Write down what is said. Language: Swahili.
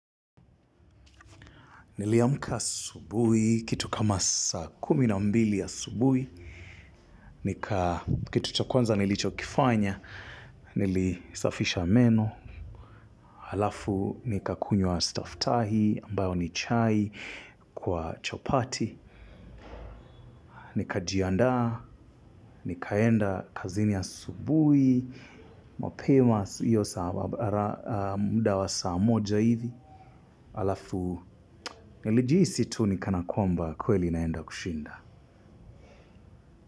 Niliamka asubuhi kitu kama saa kumi na mbili asubuhi. Kitu cha kwanza nilichokifanya, nilisafisha meno. Halafu nikakunywa staftahi, ambayo ni chai kwa chapati. Nikajiandaa, nikaenda kazini asubuhi mapema hiyo saa muda wa saa moja hivi. Halafu nilijihisi tu ni kana kwamba kweli naenda kushinda.